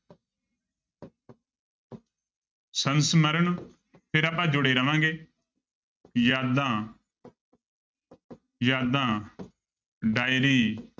ਸੰਸਮਰਨ ਫਿਰ ਆਪਾਂ ਜੁੜੇ ਰਵਾਂਗੇ ਯਾਦਾਂ ਯਾਦਾਂ diary